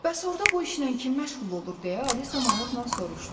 Bəs orda bu işlə kim məşğul olur deyə Alisa maraqla soruşdu.